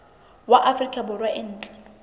wa afrika borwa ntle le